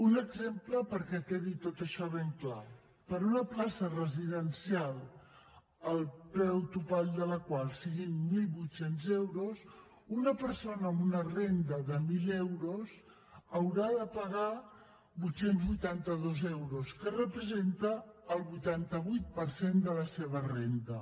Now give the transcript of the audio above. un exemple perquè quedi tot això ben clar per una plaça residencial el preu topall de la qual siguin mil vuit cents euros una persona amb una renda de mil euros haurà de pagar vuit cents i vuitanta dos euros que representa el vuitanta vuit per cent de la seva renda